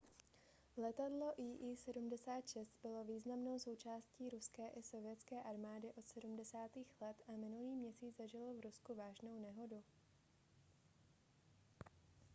letadlo il-76 bylo významnou součástí ruské i sovětské armády od 70. let a minulý měsíc zažilo v rusku vážnou nehodu